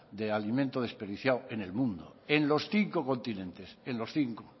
de alimentos desperdiciados en el mundo en los cinco continentes en los cinco